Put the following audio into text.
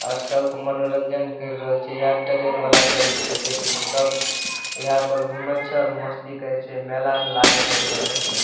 और सब मनोरंजन कर रहल छे अ ट्रेन वाला गाड़ी छे देख लीहें सब यहाँ पर घुमई छे और मस्ती करई छे मेला में लागई छे सब देखियो।